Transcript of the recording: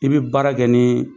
I bi baara kɛ ni